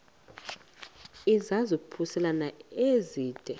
izaphuselana se zide